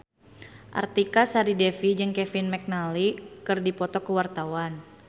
Artika Sari Devi jeung Kevin McNally keur dipoto ku wartawan